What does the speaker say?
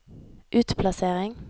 utplassering